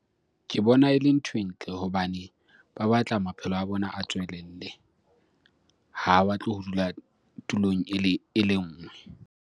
Ke bona e le nthwe ntle hobane ba batla maphelo a bona a tswelelle. Ha ba batle ho dula tulong e le nngwe.